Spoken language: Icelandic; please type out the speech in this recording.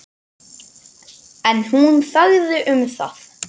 En hún þagði um það.